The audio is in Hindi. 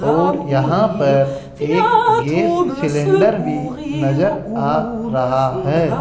और यहां पर एक गैस सिलेंडर भी नजर आ रहा है।